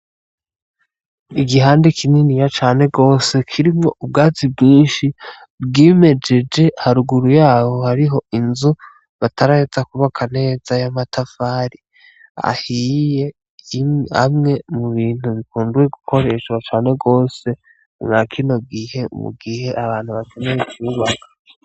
Igihande kininiya cane gose kirimwo ubwatsi bwinshi bwimejeje haruguru y’aho hariho inzu bataraheza kwubaka neza y’amatafari ahiye amwe mu bintu bikumbuwe gukoreshwa cane gose mwa kino gihe , mu gihe abantu bakeneye kwubaka.